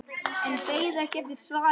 En beið ekki eftir svari.